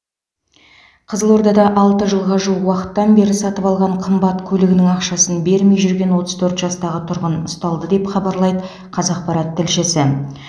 қызылордада алты жылға жуық уақыттан бері сатып алған қымбат көлігінің ақшасын бермей жүрген отыз төрт жастағы тұрғын ұсталды деп хабарлайды қазақпарат тілшісі